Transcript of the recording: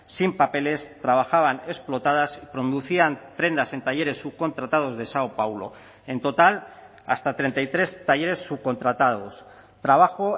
sin papeles trabajaban explotadas producían prendas en talleres subcontratados de sao paulo en total hasta treinta y tres talleres subcontratados trabajo